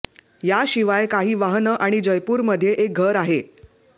याशिवाय काही वाहनं आणि जयपूरमध्ये एक घर आहे